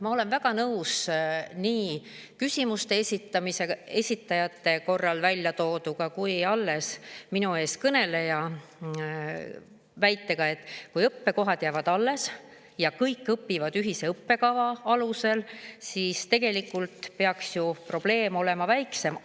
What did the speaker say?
Ma olen väga nõus nii küsimuste esitajate väljatooduga kui ka eelkõneleja väitega, et kui õppekohad jäävad alles ja kõik õpivad ühise õppekava alusel, siis tegelikult peaks ju probleem olema väiksem.